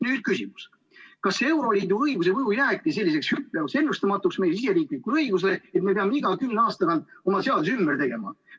" Nüüd küsimus: kas euroliidu õiguse mõju jääbki selliseks hüplevaks, ennustamatuks meie siseriiklikule õigusele, et me peame iga kümne aasta tagant oma seadusi ümber tegema?